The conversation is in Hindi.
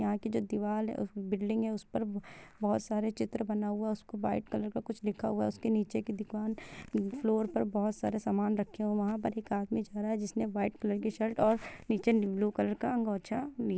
यहां की जो दीवाल है बिल्डिंग है उस पर बहुत सारे चित्र बना हुआ है| उस पर व्हाइट कलर का कुछ लिखा हुआ है उसके निचे की दुकान फ्लोर पर बहुत सारा सामान रखे है और वहाँ पर एक आदमी जा रहा है जिसने वाइट कलर की शर्ट और निचे ब्लू कलर का गोछा